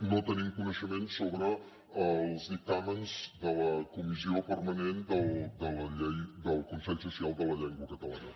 no tenim coneixement sobre els dictàmens de la comissió permanent del consell social de la llengua catalana